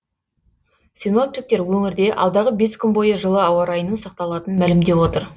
синоптиктер өңірде алдағы бес күн бойы жылы ауа райының сақталатынын мәлімдеп отыр